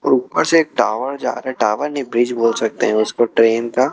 ऊपर से एक टावर जा रहा है टावर नहीं ब्रिज बोल सकते हैं उसको ट्रेन का।